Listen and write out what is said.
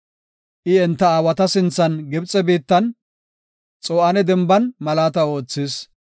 I enta aawata sinthan Gibxe biittan, Xo7aane Denban malaata oothis.